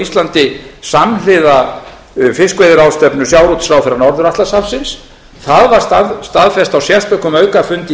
íslandi samhliða fiskveiðiráðstefnu sjávarútvegsráðherra norður atlantshafsins það var staðfest á sérstökum aukafundi í